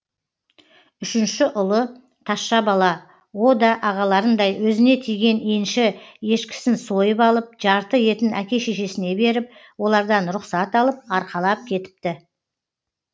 үшінші ұлы тазша бала о да ағаларындай өзіне тиген енші ешкісін сойып алып жарты етін әке шешесіне беріп олардан рұқсат алып арқалап кетіпті